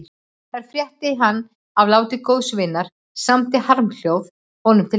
Þar frétti hann af láti góðs vinar og samdi harmljóð honum til heiðurs.